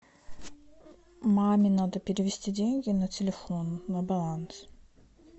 маме надо перевести деньги на телефон на баланс